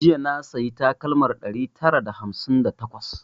Jiya na sayi takalmar ɗari tara da hamsin da takwas